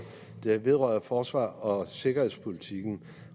der vedrører forsvars og sikkerhedspolitikken